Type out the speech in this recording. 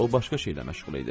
O başqa şeylə məşğul idi.